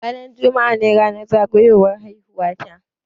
Ranar juma'a ne ranar zagayowar haihuwa ta.